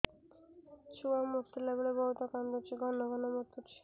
ଛୁଆ ମୁତିଲା ବେଳେ ବହୁତ କାନ୍ଦୁଛି ଘନ ଘନ ମୁତୁଛି